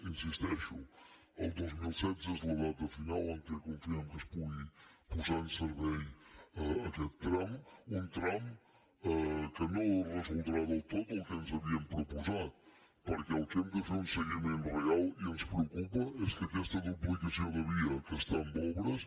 hi insisteixo el dos mil setze és la data final en què confiem que es pugui posar en servei aquest tram un tram que no resoldrà del tot el que ens havíem proposat perquè del que hem de fer un seguiment real i ens preocupa és que aquesta duplicació de via que està en obres